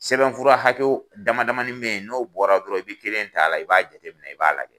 Sɛbɛn fura hakɛw damadamani bɛ ye n'o bɔra dɔrɔn i bɛ kelen t'a la i b'a jate minɛ i b'a lajɛ.